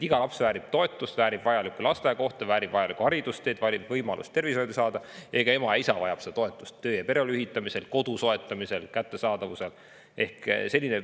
Iga laps väärib toetust, väärib lasteaiakohta, väärib haridusteed, väärib võimalust saada, ja ema-isa vajavad, et töö- ja pereelu ühitada, kodu soetada.